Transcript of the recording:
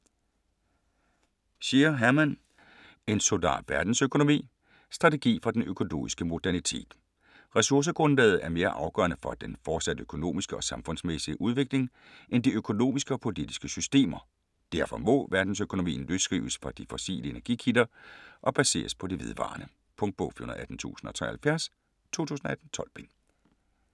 Scheer, Hermann: En solar verdensøkonomi: strategi for den økologiske modernitet Ressourcegrundlaget er mere afgørende for den fortsatte økonomiske og samfundsmæssige udvikling end de økonomiske og politiske systemer, derfor må verdensøkonomien løsrives fra de fossile energikilder og baseres på de vedvarende. Punktbog 418073 2018. 12 bind.